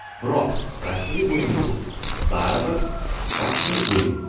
Biroq rasmiy o‘yin bu, baribir, rasmiy o‘yin.